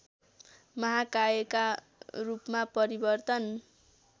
महाकायका रूपमा परिवर्तन